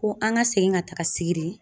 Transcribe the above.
Ko an ka segin ka taga sigiri.